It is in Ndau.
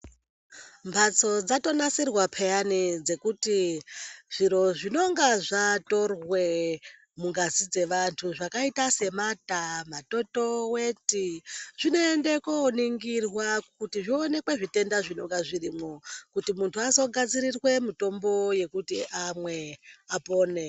Mphatso dzatonasirwa peyani dzekuti zviro zvinonga zvatorwe mungazi dze vantu zvakaita semataa matoto weti zvinoende koningirwa kuti zvoonekwe zvitenda zvinonga zvirimwo kuti muntu azo gadzirirwe mutombo wekuti amwe apone.